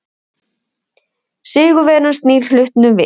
Sigurvegarinn snýr hlutunum við.